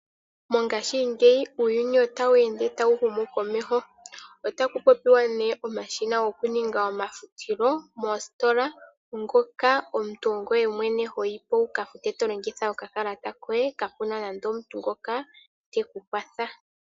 Mongaashingeyi uuyuni otawu ende tawu humu komeho. Otaku popiwa nee omashina gokuninga omafutilo moostilola ngoka omuntu ongoye mwene hoyipo wukafutte tolongitha okakalata koye kaapuna nande omuntu ngoka tekukwatha.